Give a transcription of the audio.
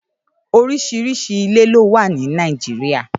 Órìṣírìṣí ilé ló wà ni Nàijiriá